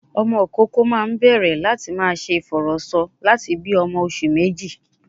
Ọmọ ìkókó máa ń bẹ̀rẹ̀ láti máa ṣe ìfọ̀rọ̀sọ lati bi ọmọ oṣù méjì